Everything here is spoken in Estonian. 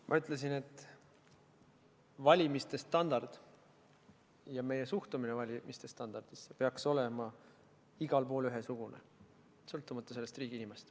Ma ütlesin, et valimiste standard ja meie suhtumine valimiste standardisse peaks olema igal pool ühesugune, sõltumata riigi nimest.